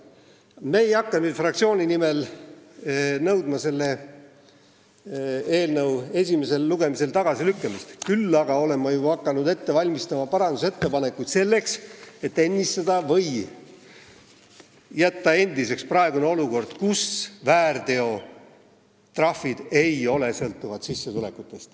Me ei hakka fraktsiooni nimel nõudma selle eelnõu esimesel lugemisel tagasilükkamist, küll aga olen ma juba hakanud ette valmistama parandusettepanekuid, selleks et olukord ennistada või jätta endiseks, nii et väärteotrahvid ei oleks sõltuvad sissetulekutest.